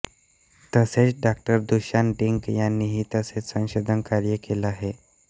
तसेच Dr Dushan Dick यांनीही येथे संशोधन कार्य केले आहे